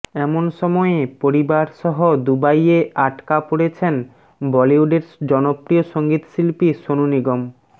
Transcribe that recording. এমন সময়ে পরিবারসহ দুবাইয়ে আটকা পড়েছেন বলিউডের জনপ্রিয় সঙ্গীতশিল্পী সোনু নিগম